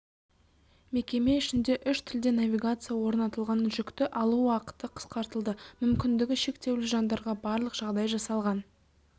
мекеме ішінде үш тілде навигация орнатылған жүкті алу уақыты қысқартылды мүмкіндігі шектеулі жандарға барлық жағдай жасалған